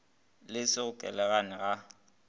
le go se lekalekane ga